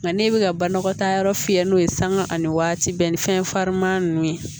Nka n'e bɛ ka banɔgɔ ta yɔrɔ fiyɛ n'o ye sanga ani waati bɛɛ ni fɛn farinman ninnu